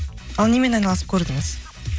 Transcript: ал немен айналысып көрдіңіз